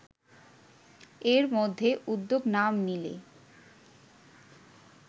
এর মধ্যে উদ্যোগ না নিলে